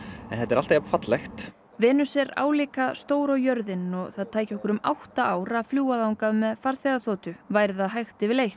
en þetta er alltaf jafn fallegt Venus er álíka stór og jörðin og það tæki okkur um átta ár að fljúga þangað með farþegaþotu væri það hægt yfirleitt